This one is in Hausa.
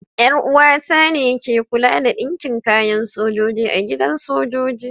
Yar uwa ta ne ke kulawa da dinkin kayan sojoji a gidan sojoji.